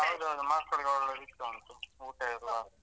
ಹೌದೌದು ಮಕ್ಳಿಗ್ ಒಳ್ಳೆ ಸಿಗ್ತಾ ಉಂಟು ಊಟ ಎಲ್ಲ.